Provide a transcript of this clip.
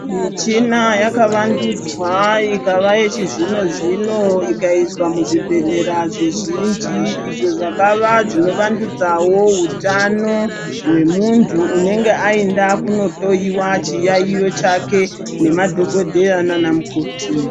Michina yakavandudzwa ikava yechizvino zvino ikaiswa muzvibhedhlera zvizhinji izvo zvakava zvinovandudzawo hutano hwemuntu unenge ainda kunohloyiwa chiyaiyo chake nemadhogodheya nanamukoti.